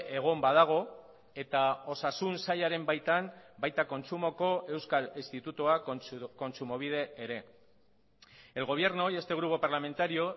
egon badago eta osasun sailaren baitan baita kontsumoko euskal institutua kontsumobide ere el gobierno y este grupo parlamentario